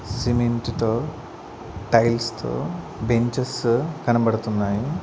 సిమెంట్తో tiles తో benches కనబడుతున్నాయి.